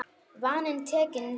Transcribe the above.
Vaninn tekinn við.